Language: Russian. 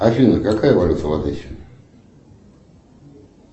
афина какая валюта в одессе